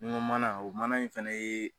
Ni ŋo mana o mana in fɛnɛ yee